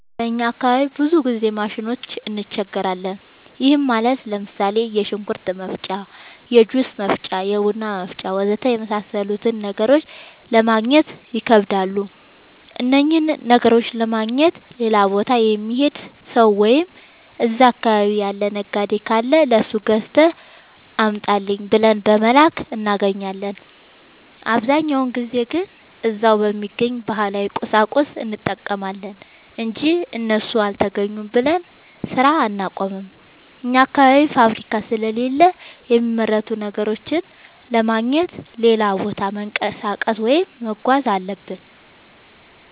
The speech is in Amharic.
በእኛ አካባቢ ብዙ ጊዜ ማሽኖች እንቸገራለን። ይህም ማለት ለምሳሌ፦ የሽንኩርት መፍጫ፣ የጁስ መፍጫ፣ የቡና መፍጫ.... ወዘተ የመሣሠሉትን ነገሮች ለማገግኘት ይከብዳሉ። እነኝህን ነገሮች ለማግኘት ሌላ ቦታ የሚሄድ ሠው ወይም እዛ አካባቢ ያለ ነጋዴ ካለ ለሱ ገዝተህ አምጣልኝ ብለን በመላክ እናገኛለን። አብዛኛውን ጊዜ ግን እዛው በሚገኝ ባህላዊ ቁሳቁስ እንጠቀማለን አንጂ እሱ አልተገኘም ብለን ስራ አናቆምም። አኛ አካባቢ ፋብሪካ ስለሌለ የሚመረቱ ነገሮችን ለማግኘት ሌላ ቦታ መንቀሳቀስ ወይም መጓዝ አለብን።